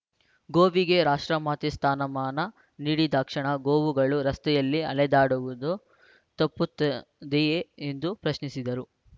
ಗೋವಿಗೆ ರಾಷ್ಟ್ರಮಾತೆ ಸ್ಥಾನಮಾನ ನೀಡಿದಾಕ್ಷಣ ಗೋವುಗಳು ರಸ್ತೆಯಲ್ಲಿ ಅಲೆದಾಡುವುದು ತಪ್ಪುತ್ತದೆಯೇ ಎಂದು ಪ್ರಶ್ನಿಸಿದರು